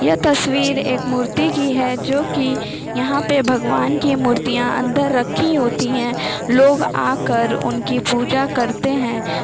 ये तस्वीर एक मूर्ति की है जो की यहां पे भगवान के मुर्तियां अंदर रखी होती है लोग आकर उनकी पूजा करते है।